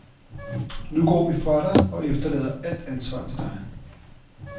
Nu går vi fra dig og efterlader alt ansvar til dig.